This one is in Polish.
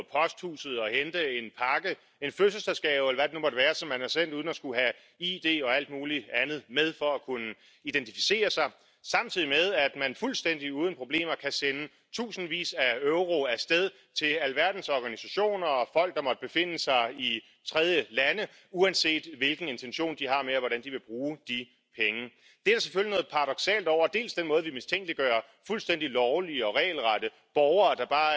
Głosowałem przeciwko dzisiejszej rezolucji w sprawie Węgier i chcę powiedzieć, że nie tylko zapisy tego dokumentu budzą kontrowersje, ale także wypowiedzi, które padły na tej Sali i które nigdy nie powinny mieć miejsca. Ta rezolucja, jak sądzę, nie odniesie pożądanego skutku.